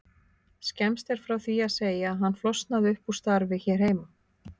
Skemmst er frá því að segja að hann flosnaði upp úr starfi hér heima.